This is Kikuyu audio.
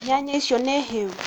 nyanya icio nĩ hĩũ?